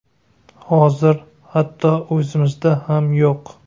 Hozir hatto o‘zimizda ham yo‘q.